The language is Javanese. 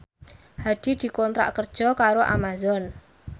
Hadi dikontrak kerja karo Amazon